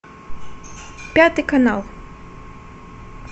пятый канал